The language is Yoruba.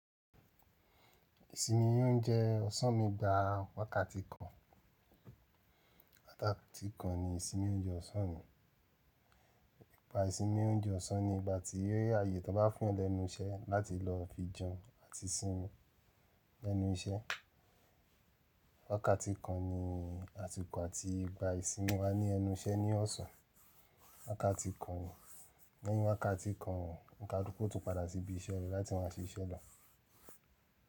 Ìsinmi oúnjẹ ọ̀sán mi gbá wákàtí kan. Wákàtí kan ni ìsinmi oúnjẹ ọ̀sán mi. Ìpa ìsinmi oúnjẹ ọ̀sán ni ìgbà tí ààyè tó bá fún ọ lẹ́nu iṣẹ́ láti lọ fi jẹun àti sinmi lẹ́nu iṣẹ́. Wákàtí kan ni àsìkò àti ìgbà ìsinmi wa ní ẹnu iṣẹ́ ní ọ̀sán. Wákàtí kan, lẹ́yìn wákàtí kan, onikaluku o tún padà sí ibi iṣẹ́ rẹ láti má ṣiṣẹ́ lọ.